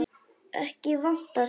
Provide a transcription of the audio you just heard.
Ekki vantar það.